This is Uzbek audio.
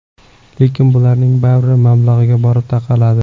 Lekin bularning bari mablag‘ga borib taqaladi.